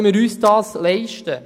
Können wir uns dies leisten?